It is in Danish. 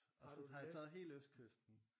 Og så har jeg taget hele østkysten